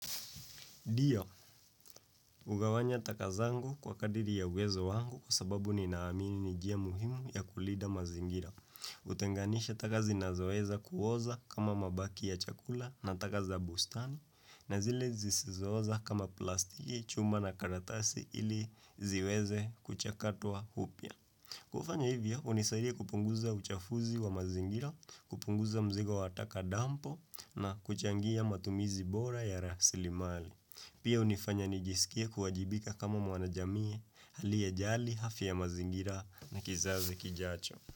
Ndio, hugawanya taka zangu kwa kadri ya uwezo wangu kwa sababu ninaamini ni njia muhimu ya kulinda mazingira. Utenganisha taka zinazoweza kuoza kama mabaki ya chakula na taka za bustani na zile zisizo oza kama plastiki chuma na karatasi ili ziweze kuchakatwa upya. Kufanya hivyo, hunisaidia kupunguza uchafuzi wa mazingira, kupunguza mzigo wa taka dampo na kuchangia matumizi bora ya rasilimali. Pia hunifanya nijisikie kuwajibika kama mwana jamii aliye jali afya ya mazingira na kizazi kijacho.